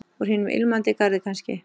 Úr hinum Ilmandi garði kannski?